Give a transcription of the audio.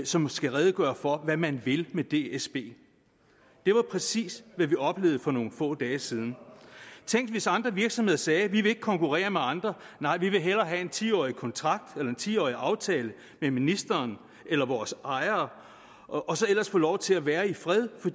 som skal redegøre for hvad man vil med dsb det var præcis hvad vi oplevede for nogle få dage siden tænk hvis andre virksomheder sagde vi vil ikke konkurrere med andre nej vi vil hellere have en ti årig kontrakt eller en ti årig aftale med ministeren eller vores ejere og så ellers få lov til at være i fred